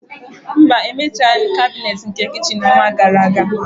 Mba, Emechaghị m kabinet nke kichin n'ọnwa gara aga